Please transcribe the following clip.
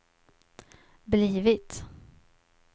blivit